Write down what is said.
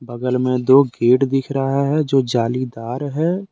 बगल मे दो गेट दिख रहा है जो जालीदार है।